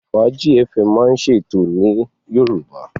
Fàájí fm máa ń ṣe ètò ní Yorùbá.